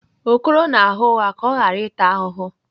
Okoro na-agha ụgha ka ọ ghara ịta ahụhụ.